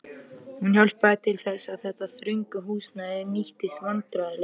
Hún hjálpaði til þess, að þetta þrönga húsnæði nýttist vandræðalaust.